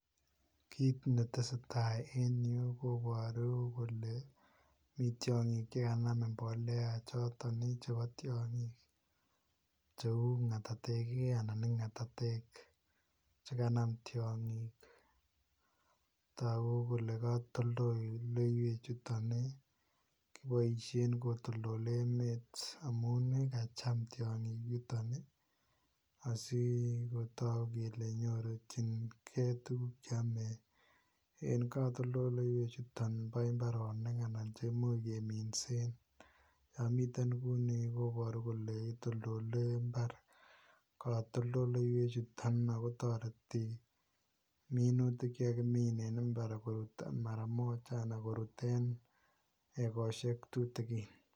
Kit ne tesetai en Yuu kobaruu kole mii tiangiik che kanam mbolea chotoon ii chebo tiangiik ,che uu ngatateek ii chekanaam tiangiik taguu kole katoltoleiweek chutoon ii kobaisheen kotondoleen emeet amuun yutoon ii asi ketook kele nyorjigei tuguuk cheame en katoltoleiweek chutoon koimuuch keminseen nguni kobaruu kole itoltole mbaar katoltoleiweek chutoon kotaretii minutiik chekakiimin en mbar ak mara imuuch koruut en egosiek tutugiin.